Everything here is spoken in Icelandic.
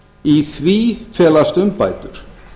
í því felast umbætur